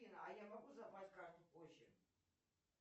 афина а я могу забрать карту позже